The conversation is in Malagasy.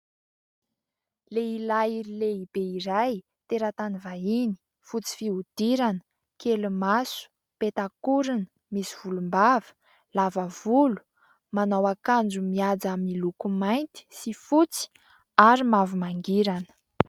Lehilahy lehibe iray, teratany vahiny, fotsy fihodirana, kely maso, petakorona, misy volombava, lavavolo ; manao akanjo mihaja miloko mainty sy fotsy ary mavomangirana.